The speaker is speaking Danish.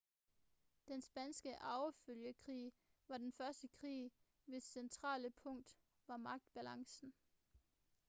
den spanske arvefølgekrig var den første krig hvis centrale punkt var magtbalancen